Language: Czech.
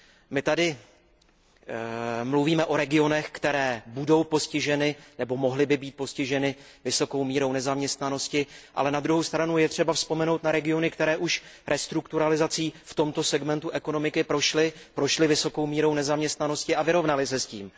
My tady mluvíme o regionech, které budou postiženy nebo by mohly být postiženy vysokou mírou nezaměstnanosti, ale na druhou stranu je třeba vzpomenout na regiony, které už restrukturalizací v tomto segmentu ekonomiky prošly, prošly vysokou mírou nezaměstnanosti a vyrovnaly se s tím.